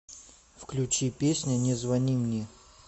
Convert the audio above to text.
включи песня не звони мне